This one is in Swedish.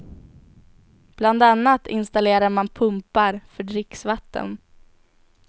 Bland annat installerar man pumpar för dricksvatten.